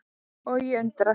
Og ég undrast.